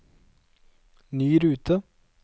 ny rute